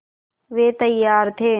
वे तैयार थे